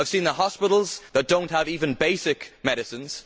I have seen the hospitals that do not have even basic medicines.